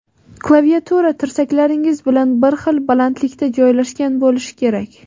Klaviatura tirsaklaringiz bilan bir xil balandlikda joylashgan bo‘lishi kerak.